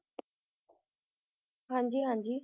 ਹਾਂਜੀ ਹਾਂਜੀ